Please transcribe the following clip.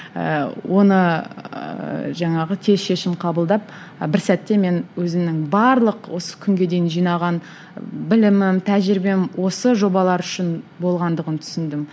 ііі оны жаңағы тез шешім қабылдап бір сәтте мен өзімнің барлық осы күнге дейін жинаған білімім тәжірибем осы жобалар үшін болғандығын түсіндім